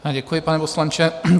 Děkuji, pane poslanče.